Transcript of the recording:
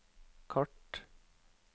kart